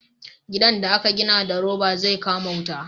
gidan da a ka gina da roba zai kama wuta